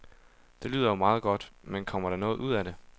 Det lyder jo meget godt, men kommer der noget ud af det?